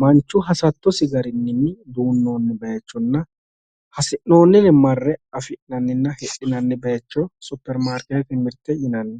manchu hasattosi garinni duunnoonni bayiichonna asi'noonnire marre afi'nanninna hidhinanni bayiicho superimaarikeettete mirte yinanni